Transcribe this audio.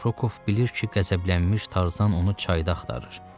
Rokov bilir ki, qəzəblənmiş Tarzan onu çayda axtarır.